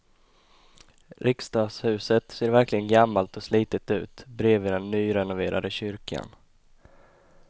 Riksdagshuset ser verkligen gammalt och slitet ut bredvid den nyrenoverade kyrkan.